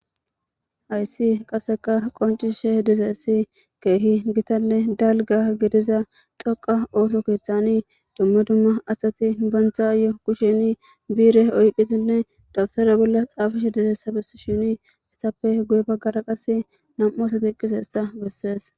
Haysi qaseka qonc'isishe dizaysi kehi gitane daliga gidiza dhoqa otho ketani duma duma asati bantayo kushen bireni dabtara boli xafishe dizaysa besishen etape guye bagara qasek nam'u asati eqizaysa beses.